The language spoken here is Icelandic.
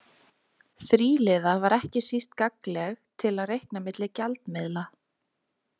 Þríliða var ekki síst gagnleg til að reikna milli gjaldmiðla.